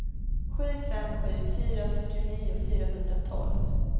sju fem sju fyra fyrtionio fyrahundratolv